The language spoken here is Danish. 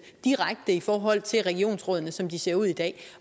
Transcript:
direkte i forhold til regionsrådene som de ser ud i dag